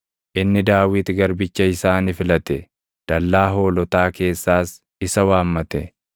Inni Daawit garbicha isaa ni filate; dallaa hoolotaa keessaas isa waammate;